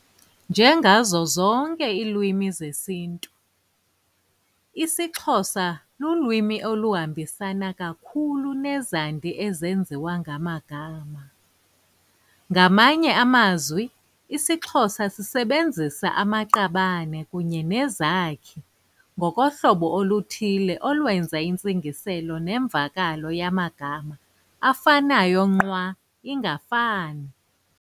Njengazo zonke iilwimi zesiNtu, isiXhosa lulwimi oluhambisana kakhulu nezandi ezenziwa ngamagama. Ngamanye amazwi isiXhosa sisebenzisa amaqabane kunye nezakhi ngokohlobo oluthile olwenza intsingiselo nemvakalo yamagama afanayo nqwa ingafani.